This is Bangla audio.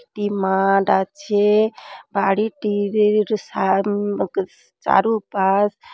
একটি মাঠ আছে | বাড়িটির র সাম চারু পাশ --